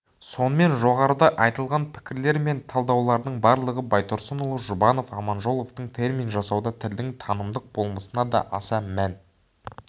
сонымен жоғарыда айтылған пікірлер мен талдаулардың барлығы байтұрсынұлы жұбанов аманжоловтың термин жасауда тілдің танымдық болмысына да аса мән